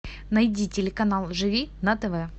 найди телеканал живи на тв